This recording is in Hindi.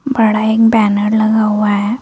बड़ा एक बैनर लगा हुआ है।